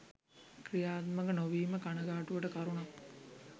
ක්‍රියාත්මක නොවීම කනගාටුවට කරුණක්.